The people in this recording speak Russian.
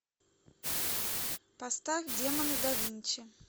поставь демоны да винчи